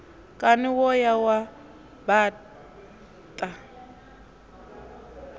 kani wo ya wa baṱa